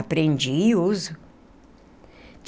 Aprendi e uso.